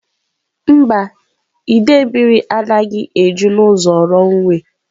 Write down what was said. Mba, idei mmiri anaghị eju n'ụzọ runway.